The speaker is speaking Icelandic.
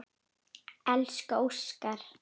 Elsku Óskar.